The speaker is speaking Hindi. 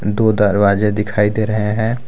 दो दरवाजे दिखाई दे रहे हैं।